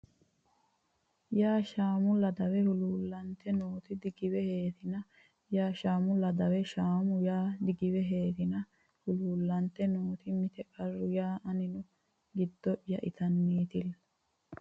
ya Shaamu Ladawe Huluullantinoti digiweheetina ya Shaamu Ladawe Ladawe Shaamu ya digiweheetina Huluullantinoti mite qarra ya aninni giddo ya itannitilla !